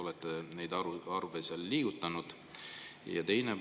Olete neid arve seal liigutanud?